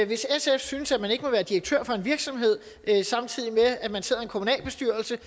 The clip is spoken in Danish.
hvis sf synes at man ikke må være direktør for en virksomhed samtidig med at man sidder i en kommunalbestyrelse